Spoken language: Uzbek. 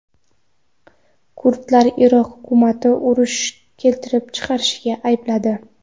Kurdlar Iroq hukumatini urush keltirib chiqarishda aybladi.